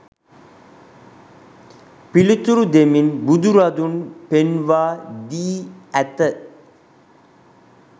පිළිතුරු දෙමින් බුදුරදුන් පෙන්වා දී ඇත.